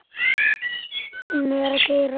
Gummi er að keyra.